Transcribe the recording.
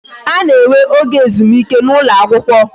A na-enwe oge ezumike n'ụlọ akwụkwọ